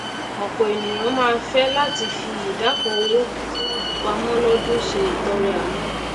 òpò ènìyàn máá fé láti fi ìdá kan owó tí wọn fi pamó lódún se ìtọrẹ àánú